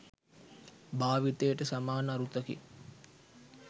භාවිතයට සමාන අරුතකි